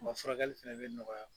Wa furakɛli fana bɛ nɔgɔya.